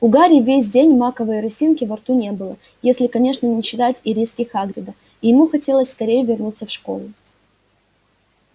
у гарри весь день маковой росинки во рту не было если конечно не считать ириски хагрида и ему хотелось скорей вернуться в школу